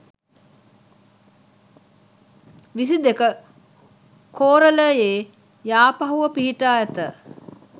විසි දෙක කෝරළයේ යාපහුව පිහිටා ඇත.